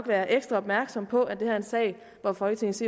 være ekstra opmærksomme på at det her er en sag hvor folketingets